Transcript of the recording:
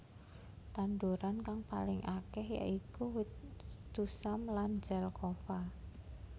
Tanduran kang paling akeh ya iku wit tusam lan zelkova